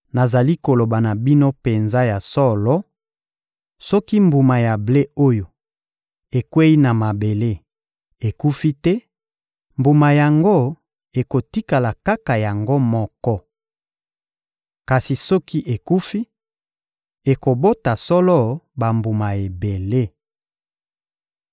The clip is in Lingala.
Nazali koloba na bino penza ya solo: soki mbuma ya ble oyo ekweyi na mabele ekufi te, mbuma yango ekotikala kaka yango moko. Kasi soki ekufi, ekobota solo bambuma ebele.